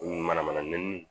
O ni manamana nɛnini